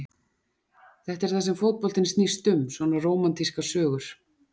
Þetta er það sem fótboltinn snýst um, svona rómantískar sögur.